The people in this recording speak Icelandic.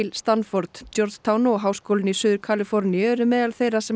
Stanford Georgetown og Háskólinn í Suður Kaliforníu eru meðal þeirra sem